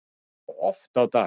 Já, oft á dag